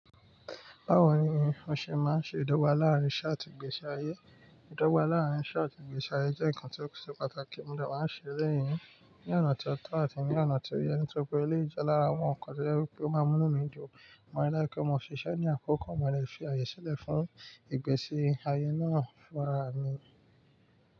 Báwo ni o ṣe máa ń ṣe ìdọ́gba láàárín isé àtì ìgbésí ayé? Ìdọ́gba láàárín isé àtì ìgbésí ayé jẹ́ nǹkan tó ṣe pàtàkì, mo de máa ń ṣe éléyì ní, ní ọ̀nà tó tọ́ àti ní ọ̀nà tí ó yẹ, nítorí pé éléyì je lára àwọn nǹkan tí ó ṣe wípé ó máa ń mú nù mí ju. Mo ní láìpẹ́ mo ṣìṣẹ́ ní àkókò mo lè fi àyè sílẹ̀ fún ìgbésí ayé náà fún ra mi.